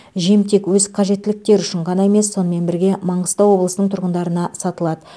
жем тек өз қажеттіліктері үшін ғана емес сонымен бірге маңғыстау облысының тұрғындарына сатылады